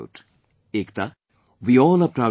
' Ekta, we all are proud of you